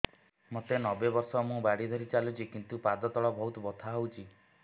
ମୋତେ ନବେ ବର୍ଷ ମୁ ବାଡ଼ି ଧରି ଚାଲୁଚି କିନ୍ତୁ ପାଦ ତଳ ବହୁତ ବଥା ହଉଛି